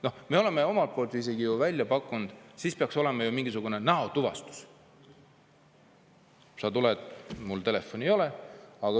Noh, me oleme omalt poolt isegi ju välja pakkunud, et ehk peaks olema mingisugune näotuvastus.